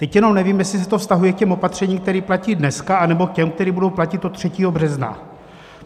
Teď jenom nevím, jestli se to vztahuje k těm opatřením, které platí dneska, nebo k těm, která budou platit od 3. března.